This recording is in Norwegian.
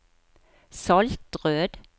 Saltrød